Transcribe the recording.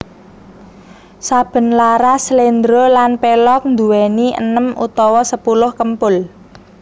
Saben laras sléndro lan pelog nduwéni enem utawa sepuluh kempul